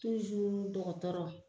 Tuzuru dɔgɔtɔrɔ